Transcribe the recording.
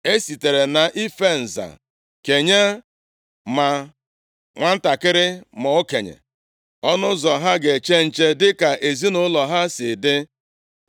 E sitere nʼife nza kenye ma nwantakịrị ma okenye, ọnụ ụzọ ha ga-eche nche, dịka ezinaụlọ ha si dị.